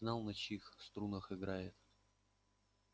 знал на чьих струнах играет